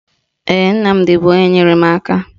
Ee, Nnamdi bụ onye nyere m aka